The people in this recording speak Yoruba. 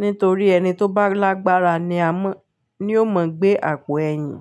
nítorí ẹni tó bá lágbára ni a mọ́, ni ó mọ gbé àpò ẹ̀yìn.